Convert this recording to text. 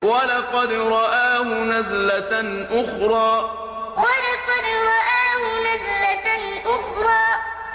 وَلَقَدْ رَآهُ نَزْلَةً أُخْرَىٰ وَلَقَدْ رَآهُ نَزْلَةً أُخْرَىٰ